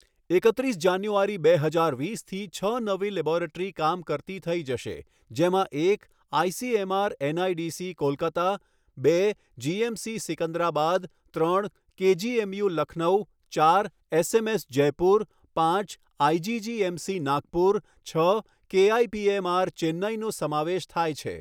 એકત્રીસ જાન્યુઆરી, બે હજાર વીસથી છ નવી લેબોરેટરી કામ કરતી થઈ જશે, જેમાં એક આઈસીએમઆર એનઆઈસીડી, કોલકતા બે જીએમસી, સિકંદરાબાદ ત્રણ કેજીએમયુ, લખનૌ ચાર એસએમએસ, જયપુર પાંચ આઈજીજીએમસી, નાગપુર છ કેઆઈપીએમઆર, ચેન્નઈનો સમાવેશ થાય છે.